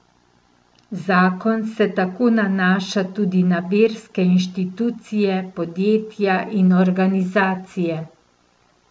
Zakon se tako nanaša tudi na verske inštitucije, podjetja in organizacije.